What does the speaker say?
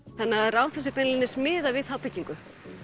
Ráðhúsið beinlínis miðaði við þá byggingu